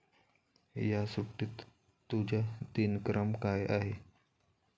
या सुट्टीत तुझा दिनक्रम काय आहे?